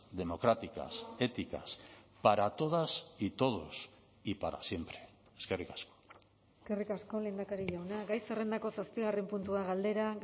democráticas éticas para todas y todos y para siempre eskerrik asko eskerrik asko lehendakari jauna gai zerrendako zazpigarren puntua galdera